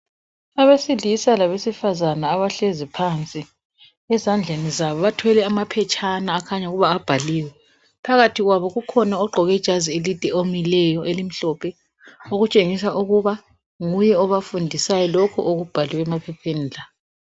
Abesilisa labesifazana abahlezi phansi ezandleni zabo bathwele amaphetshana akhanya ukubana abhaliwe, phakathi kwabo kukhona ogqoke ijazi elide omileyo elimhlophe okutshengisa ukuba nguye obafundisayo lokhu okubhalwe emaphepheni la.